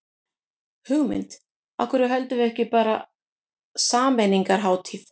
Hugmynd, af hverju höldum við þá ekki bara sameiningarhátíð.